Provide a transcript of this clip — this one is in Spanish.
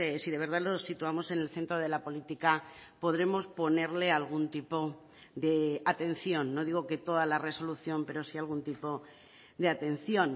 si de verdad lo situamos en el centro de la política podremos ponerle algún tipo de atención no digo que toda la resolución pero si algún tipo de atención